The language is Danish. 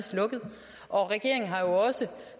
og at regeringen har jo også